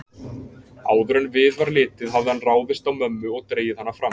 Áður en við var litið hafði hann ráðist á mömmu og dregið hana fram.